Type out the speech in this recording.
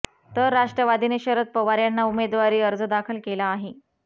तर राष्ट्रवादीने शरद पवार यांना उमदेवारी अर्ज दाखल केला आहे